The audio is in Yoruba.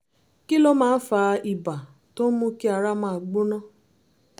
kí ló máa ń fa ibà tó ń mú kí ara máa gbóná?